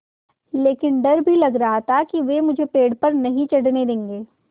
लेकिन डर भी लग रहा था कि वे मुझे पेड़ पर नहीं चढ़ने देंगे